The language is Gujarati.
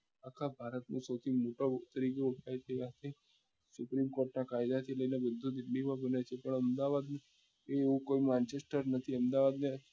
આખા ભારત માં સૌથી મોટો ત્રીજો ઐતિહાસિક સુપ્રીમ કોટ ના કાયદા થી લઈ ને વિદ્યુત માં પણ અમદાવાદ માં એવું કોઈ નથી